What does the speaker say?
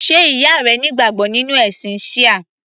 Sé ìyá rẹ ní ìgbàgbọ́ nínú ẹ̀sìn Shia?